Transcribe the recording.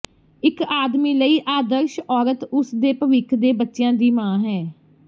ਇੱਕ ਆਦਮੀ ਲਈ ਆਦਰਸ਼ ਔਰਤ ਉਸ ਦੇ ਭਵਿੱਖ ਦੇ ਬੱਚਿਆਂ ਦੀ ਮਾਂ ਹੈ